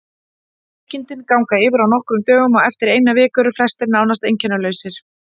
Veikindin ganga yfir á nokkrum dögum og eftir eina viku eru flestir nánast einkennalausir.